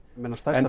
stærsta